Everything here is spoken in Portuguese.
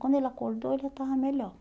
Quando ele acordou, ele estava melhor.